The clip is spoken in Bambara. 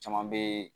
Caman bɛ